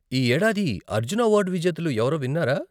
ఈ ఏడాది అర్జున అవార్డు విజేతలు ఎవరో విన్నారా?